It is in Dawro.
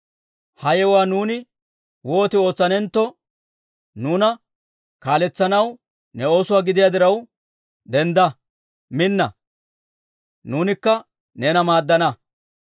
Ha yewuwaa nuuni wooti ootsanentto, nuuna kaaletsanawe ne oosuwaa gidiyaa diraw, dendda! Minna! Nuunikka neena maaddana».